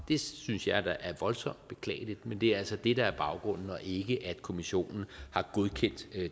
det synes jeg da er voldsomt beklageligt men det er altså det der baggrunden og ikke at kommissionen har godkendt